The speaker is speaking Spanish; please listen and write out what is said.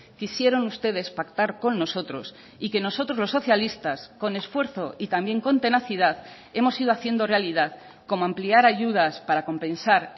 quisieron ustedes pactar con nosotros y que nosotros los socialistas con esfuerzo y también con tenacidad hemos ido haciendo realidad como ampliar ayudas para compensar